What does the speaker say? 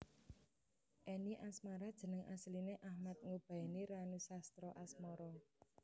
Any Asmara jeneng asline Achmad Ngubaeni Ranusastraasmara